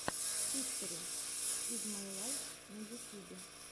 хистори из май лайф на ютюбе